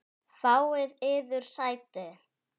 Fáið yður sæti.